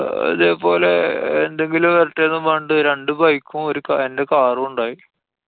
ഇതേപോലെ അഹ് എന്തെങ്കിലും വരട്ടെന്നും പറഞ്ഞിട്ട് രണ്ടു bike ഉം ഒരു കാ~ എന്‍റെ car ഉം ഉണ്ടായി.